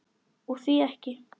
Og því ekki?